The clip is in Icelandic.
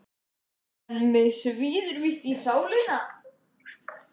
En mig svíður víst í sálina.